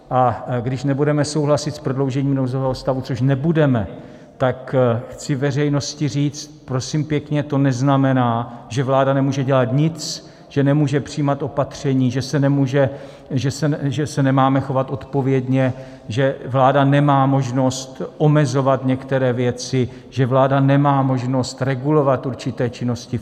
A když nebudeme souhlasit s prodloužením nouzového stavu, což nebudeme, tak chci veřejnosti říct prosím pěkně, to neznamená, že vláda nemůže dělat nic, že nemůže přijímat opatření, že se nemáme chovat odpovědně, že vláda nemá možnost omezovat některé věci, že vláda nemá možnost regulovat určité činnosti.